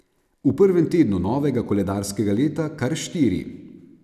V prvem tednu novega koledarskega leta kar štiri.